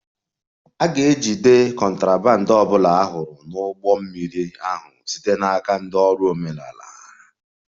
A ga-ejide contraband ọ bụla a hụrụ n'ụgbọ mmiri ahụ site n'aka ndị ọrụ omenala